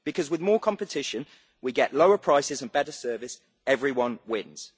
Because with more competition, we get lower prices and better service everyone wins.